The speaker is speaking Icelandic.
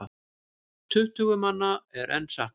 Tuttugu manna er enn saknað.